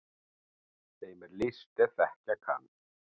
Þeim er list er þegja kann.